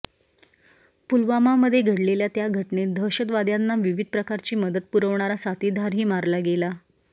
पुलवामामध्ये घडलेल्या त्या घटनेत दहशतवाद्यांना विविध प्रकारची मदत पुरवणारा साथीदारही मारला गेला